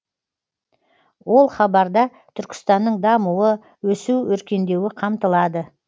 ол хабарда түркістанның дамуы өсу өркендеуі қамтылады